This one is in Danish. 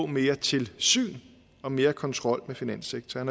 mere tilsyn og mere kontrol med finanssektoren